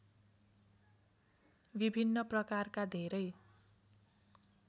विभिन्न प्रकारका धेरै